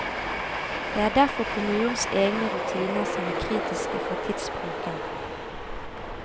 Det er derfor kommunens egne rutiner som er kritiske for tidsbruken.